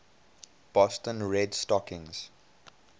boston red stockings